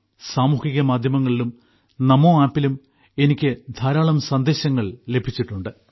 സാമൂഹിക മാധ്യമങ്ങളിലും നമോ Appലും എനിക്ക് ധാരാളം സന്ദേശങ്ങൾ ലഭിച്ചിട്ടുണ്ട്